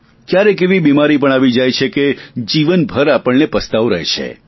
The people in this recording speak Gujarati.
ક્યારેક એવી બીમારી પણ આવી જાય છે કે જીવનભર આપણને પસ્તાવો રહે છે